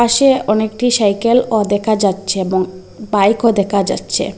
সে অনেকটি সাইকেলে -ও দেখা যাচ্ছে এবং বাইক -ও দেখা যাচ্ছে।